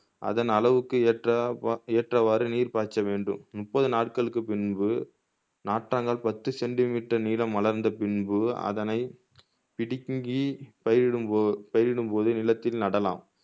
அதன் அளவுக்கு ஏற்ற ஏற்றவாறு நீர் பாய்ச்ச வேண்டும் முப்பது நாள்களுக்கு பின்பு நாற்றாங்கால் பத்து சென்டிமீட்டர் நீளம் வளர்ந்த பின்பு அதனை பிடுங்கி பயிரிடும்போ பயிரிடும்போது நிலத்தில் நடலாம்